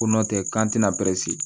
Ko n'o tɛ k'an tɛna